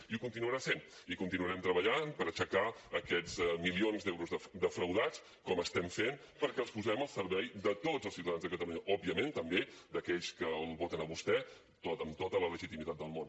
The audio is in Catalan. i ho continuarà sent i continuarem treballant per aixecar aquests milions d’euros defraudats com estem fent perquè els posem al servei de tots els ciutadans de catalunya òbviament també d’aquells que el voten a vostè amb tota la legitimitat del món